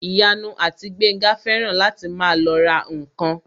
Ìyanu àti Gbénga fẹ́ràn láti máa lọ ra ǹkan